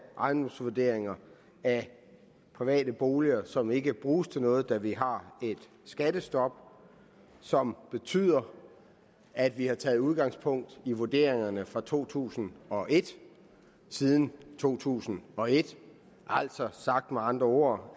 ejendomsvurderinger af private boliger som ikke bruges til noget da vi har et skattestop som betyder at vi har taget udgangspunkt i vurderingerne fra to tusind og et siden to tusind og et altså sagt med andre ord